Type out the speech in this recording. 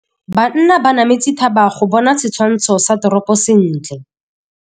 Banna ba nametse thaba go bona setshwantsho sa toropô sentle.